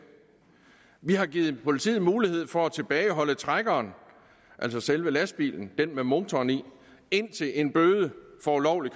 vi har givet politiet mulighed for at tilbageholde trækkeren altså selve lastbilen den med motoren i indtil en bøde for ulovlig